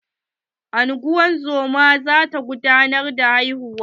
Ungozomar za ta gudanar da haihuwar.